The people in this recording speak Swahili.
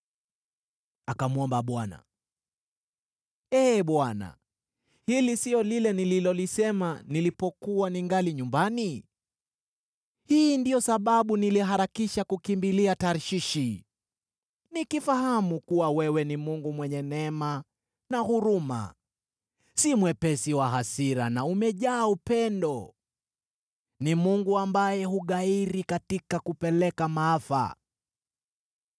Akamwomba Bwana , “Ee Bwana , hili si lile nililolisema nilipokuwa ningali nyumbani? Hii ndiyo sababu niliharikisha kukimbilia Tarshishi. Nikifahamu kuwa wewe ni Mungu mwenye neema na huruma, si mwepesi wa hasira na umejaa upendo, ni Mungu ambaye hughairi katika kupeleka maafa.